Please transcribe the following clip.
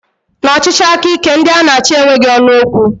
N'ọchịchị aka ike, ndị a na achị enweghị ọnụ okwu